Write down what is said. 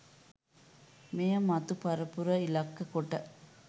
මෙය මතු පරපුර ඉලක්ක කොට